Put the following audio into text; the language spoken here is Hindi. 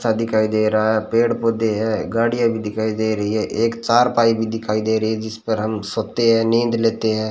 छत दिखाई दे रहा है पेड़ पौधे है गाड़िया भी दिखाई दे रही है एक चार पाही भी दिखाई दे रही है जिसमें हम सोते है नींद लेते है।